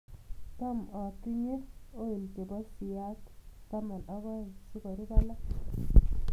Cham atinye olii che bo siat taman ak oeng si kurub alak.